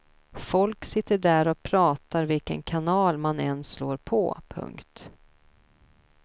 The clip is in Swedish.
Folk sitter där och pratar vilken kanal man än slår på. punkt